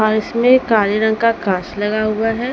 इसमें में काले रंग का काच लगा हुआ है।